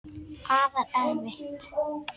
Afar erfitt.